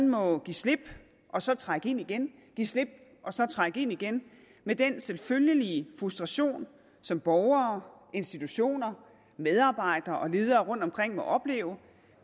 må give slip og så trække ind igen give slip og så trække ind igen med den selvfølgelige frustration som borgere institutioner medarbejdere og ledere rundtomkring må opleve